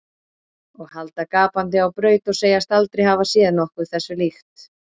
Og halda gapandi á braut og segjast aldrei hafa séð nokkuð þessu líkt.